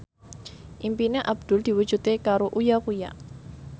impine Abdul diwujudke karo Uya Kuya